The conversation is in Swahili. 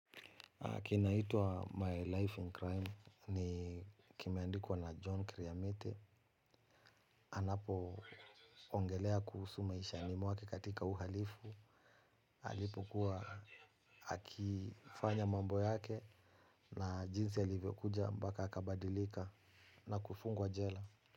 Kinaitwa My Life in Crime ni kimeandikwa na John Kiriamete. Anapoongelea kuhusu maishani mwake katika uhalifu alipokuwa akifanya mambo yake. Na jinsi alivyokuja mpaka akabadilika na kufungwa jela.